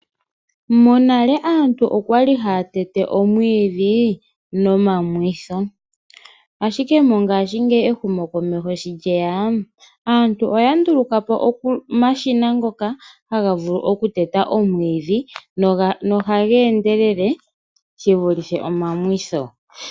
Monale aantu okwali haya tete omwiidhi nomamwitho, ashike mongaashingeyi ehumokomeho sho lyeya aantu oya nduluka po omashina ngoka haga vulu okuteta omwiidhi nohaga endelele shi vulithe omamwitho.